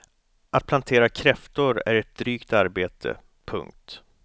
Att plantera kräftor är ett drygt arbete. punkt